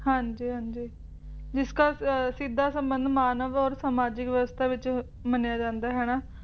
ਹਾਂਜੀ ਹਾਂਜੀ ਜਿਸ ਦਾ ਸਿੱਧਾ ਸੰਬੰਧ ਮਾਨਵ ਔਰ ਸਮਾਜਿਕ ਵਿਵਸਥਾ ਵਿੱਚ ਮੰਨਿਆ ਜਾਂਦਾ ਹੈ ਨਾ